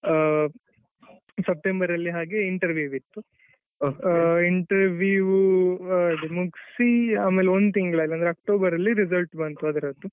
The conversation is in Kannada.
ಆ ಸೆಪ್ಟೆಂಬರಲ್ಲಿ ಹಾಗೆ interview ಇತ್ತು interview ಮುಗ್ಸಿ ಆಮೇಲೆ ಒಂದ್ ತಿಂಗಳಲ್ಲಿ ಅಂದ್ರೆ ಅಕ್ಟೋಬರಲ್ಲಿ result ಬಂತು ಅದ್ರದ್ದು.